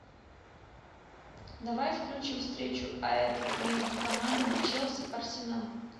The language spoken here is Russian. давай включим встречу апл между командами челси арсенал